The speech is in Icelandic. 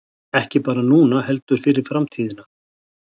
Ekki bara núna heldur fyrir framtíðina